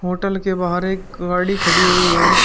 Hotel के बाहर एक गाड़ी खड़ी हुई है।